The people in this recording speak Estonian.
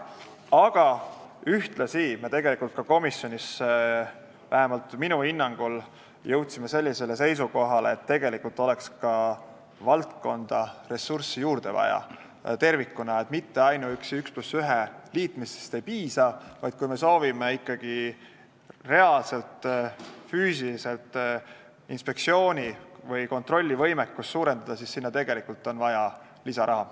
Aga ühtlasi me jõudsime komisjonis, vähemalt minu hinnangul, seisukohale, et tegelikult oleks valdkonda tervikuna ressursse juurde vaja, ainuüksi ühe ja ühe liitmisest ei piisa, vaid kui me soovime ikkagi reaalselt kontrollivõimekust suurendada, siis on vaja lisaraha.